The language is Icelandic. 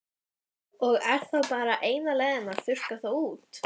Og er þá bara eina leiðin að þurrka þá út?